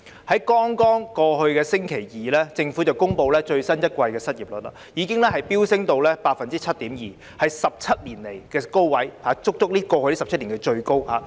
在剛過去的星期二，政府公布最新一季的失業率已經飆升至 7.2%， 是17年來的高位，是過去足足17年以來最高的數字。